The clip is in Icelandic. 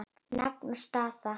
Nafn og staða?